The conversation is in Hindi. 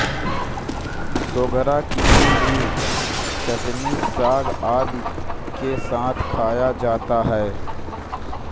सोगरा किसी भी चटनी साग आदि के साथ खाया जाता है